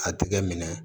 A tigɛ minɛ